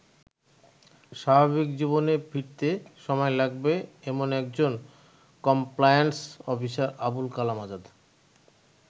স্বাভাবিক জীবনে ফিরতে সময় লাগবে এমন একজন কমপ্লায়ান্স অফিসার আবুল কালাম আজাদ।